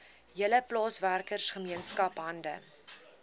hele plaaswerkergemeenskap hande